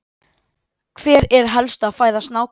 Hver er helsta fæða snáka?